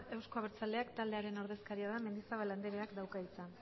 euzko abertzaleak taldearen ordezkaria den mendizabal andereak dauka hitza